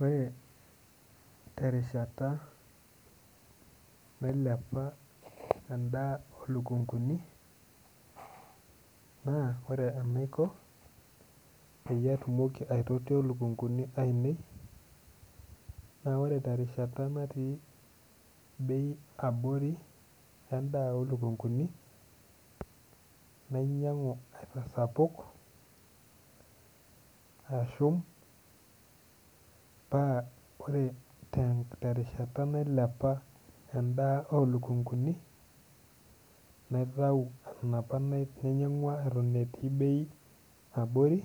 Ore terishata nailepa endaa olukunguni naa ore enaiko peyie atumoki aitotio ilukunguni ainei naa ore terishata natii bei abori endaa olukunguni nainyiang'u aitasapuk ashum paa ore te terishata nailepa endaa olukunguni naitau enapa nainyiang'ua eton etii bei abori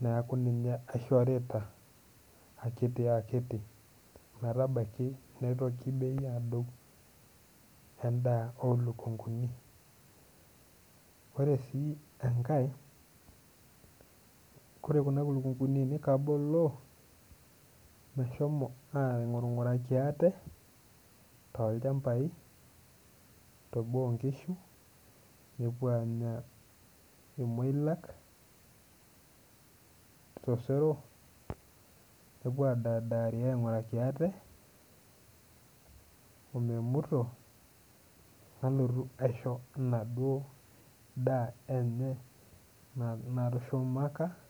neaku ninye aishorita akiti akiti ometabaki neitoki bei adou endaa olukunguni ore sii enkae kore kuna kulukunguni ainei kaboloo meshomo aing'ung'uraki aate tolchambai teboo onkishu epuo aanya irmoilak tosero nepuo adadari aing'uraki ate omemuto nalotu aisho enaduo daa enye na natushumaka.